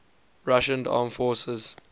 russian armed forces